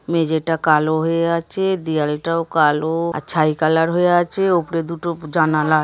মেঝেটা কালো হয়ে আছে দেয়ালটাও কালো আর ছাই কালার হয়ে আছে ওপরে দুটো ব জানালা।